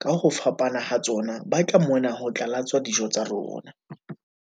ka ho fapana ha tsona ba tla mona ho tla latswa dijo tsa rona."